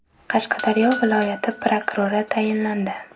Qashqadaryo viloyati prokurori tayinlandi.